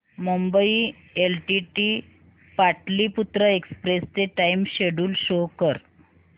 Mumbai LTT Pataliputra express चे time schedule show कर